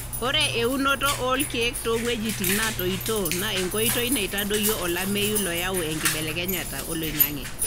ore eunoto olkeek to weujitin natoito na enkotoi naitadoyio olameyu loyau enkibelekenyata oloingange.